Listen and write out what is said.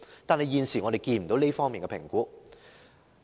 不過，現時卻沒有這方面的評估。